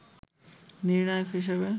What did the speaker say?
নির্ণায়ক হিসেবে